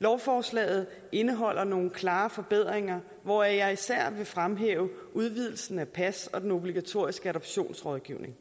lovforslaget indeholder nogle klare forbedringer hvoraf jeg især vil fremhæve udvidelsen af pas og den obligatoriske adoptionsrådgivning